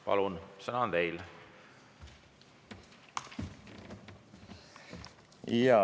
Palun, sõna on teil!